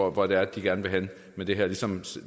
og hvor det er de gerne vil hen med det her ligesom